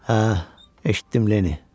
Hə, eşitdim, Lenni.